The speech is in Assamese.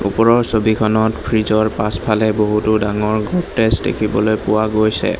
ওপৰৰ ছবিখনত ফ্ৰিজ ৰ পাছফালে বহুতো ডাঙৰ গ'ড্ৰেজ দেখিবলৈ পোৱা গৈছে।